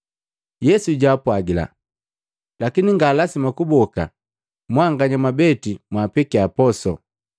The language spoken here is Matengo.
Yesu jaapwagila, “Lakini nga lasima kuboka, mwanganya mwabeti mwaapekia poso.”